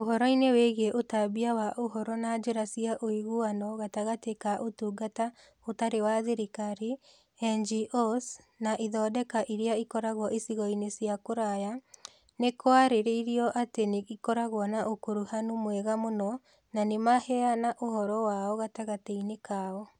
Ũhoro-inĩ wĩgiĩ ũtambia wa ũhoro na njĩra cia ũiguano gatagatĩ ka Ũtungata Ũtarĩ wa Thirikari (NGOs) na ithondeka iria ikoragwo icigo-inĩ cia kũraya, nĩ kwarĩrio atĩ nĩ ikoragwo na ũkuruhanu mwega mũno na nĩ maheana ũhoro wao gatagatĩ-inĩ kao.